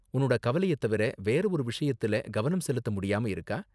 உன்னோட கவலைய தவிர வேற ஒரு விஷயத்துல கவனம் செலுத்த முடியாம இருக்கா?